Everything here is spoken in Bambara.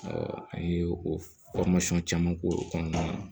an ye o caman k'o kɔnɔna na